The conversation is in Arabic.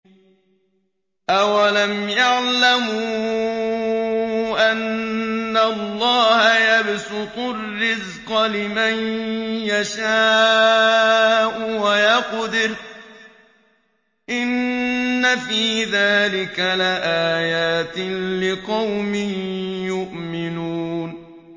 أَوَلَمْ يَعْلَمُوا أَنَّ اللَّهَ يَبْسُطُ الرِّزْقَ لِمَن يَشَاءُ وَيَقْدِرُ ۚ إِنَّ فِي ذَٰلِكَ لَآيَاتٍ لِّقَوْمٍ يُؤْمِنُونَ